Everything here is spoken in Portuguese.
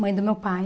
Mãe do meu pai.